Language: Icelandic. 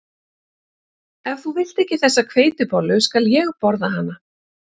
Ef þú vilt ekki þessa hveitibollu skal ég borða hana